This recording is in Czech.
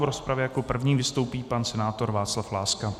V rozpravě jako první vystoupí pan senátor Václav Láska.